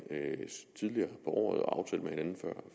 tidligere på året og